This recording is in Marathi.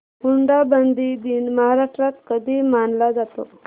हुंडाबंदी दिन महाराष्ट्रात कधी मानला जातो